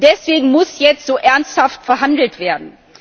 Deswegen muss jetzt so ernsthaft verhandelt werden.